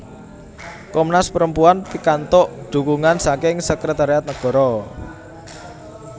Komnas Perempuan pikantuk dhukungan saking Sekretariat Nagara